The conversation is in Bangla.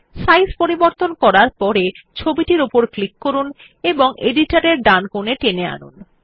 সাইজ পরিবর্তন করার পড়ে ছবিটির উপর ক্লিক করুন এবং এডিটর এর ডানকোনে টেনে আনুন